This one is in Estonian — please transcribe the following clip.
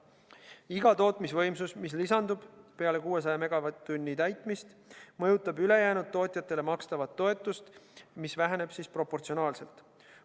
Iga tootmisvõimsus, mis lisandub peale 600 megavatt-tunni täitmist, mõjutab ülejäänud tootjatele makstavat toetust – see väheneb proportsionaalselt.